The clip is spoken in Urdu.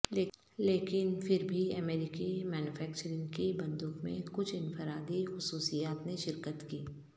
لیکن پھر بھی امریکی مینوفیکچرنگ کی بندوق میں کچھ انفرادی خصوصیات نے شرکت کی